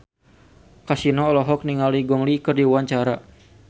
Kasino olohok ningali Gong Li keur diwawancara